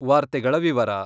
ವಾರ್ತೆಗಳ ವಿವರ